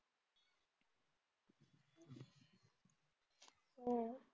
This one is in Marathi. हो